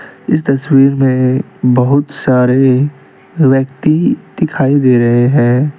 इस तस्वीर में बहुत सारे व्यक्ति दिखाई दे रहे हैं।